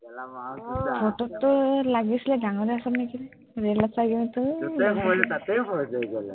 ফটোততো লাগিছিলেই ডাঙৰেই আছ নেকি, ৰেলত পাইযে তোক